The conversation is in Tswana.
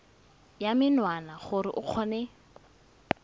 ya menwana gore o kgone